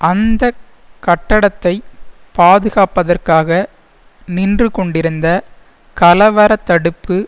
அந்த கட்டடத்தை பாதுகாப்பதற்காக நின்று கொண்டிருந்த கலவர தடுப்பு